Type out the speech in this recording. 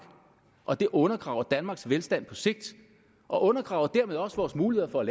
og det undergraver danmarks velstand på sigt og undergraver dermed også vores muligheder for at